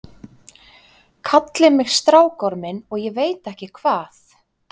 Kalli mig strákorminn og ég veit ekki hvað.